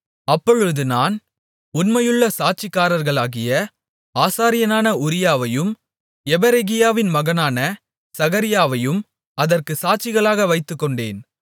அப்பொழுது நான் உண்மையுள்ள சாட்சிக்காரர்களாகிய ஆசாரியனான உரியாவையும் யெபெரெகியாவின் மகனான சகரியாவையும் அதற்குச் சாட்சிகளாக வைத்துக்கொண்டேன்